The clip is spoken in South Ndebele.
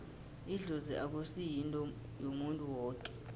idlozi akusi yinto yomuntu woke